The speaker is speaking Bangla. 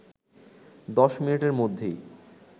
১০ মিনিটের মধ্যেই